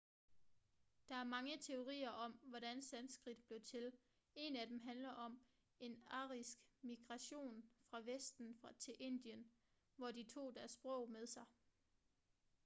der er mange teorier om hvordan sanskrit blev til en af dem handler om en arisk migration fra vesten til indien hvor de tog deres sprog med sig